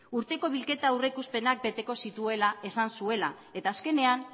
urteko bilketa aurreikuspenak beteko zituela esan zuela eta azkenean